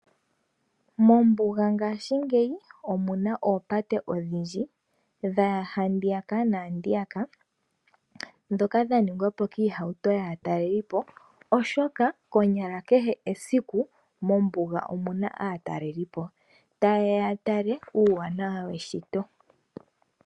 Mombuga ngaashingeyi omuna oopate odhindji dha ya handiyaka naandiyaka, ndhoka dha ningwa po kiihauto kaatalelipo oshoka konyala kehe esiku mombuga omuna aatalelipo ta yeya ya tale uuwanawa weshito.